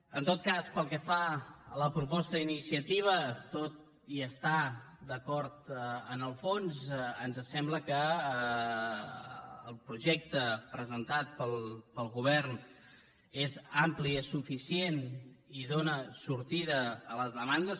en tot cas pel que fa a la proposta d’iniciativa tot i estar d’acord amb el fons ens sembla que el projecte presentat pel govern és ampli i és suficient i dóna sortida a les demandes